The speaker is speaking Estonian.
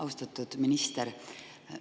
Austatud minister!